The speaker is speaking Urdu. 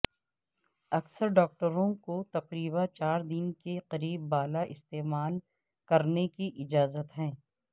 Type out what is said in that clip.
اکثر ڈاکٹروں کو تقریبا چار دن کے قریب بالا استعمال کرنے کی اجازت ہے